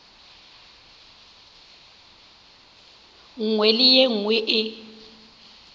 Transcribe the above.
nngwe le ye nngwe e